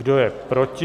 Kdo je proti?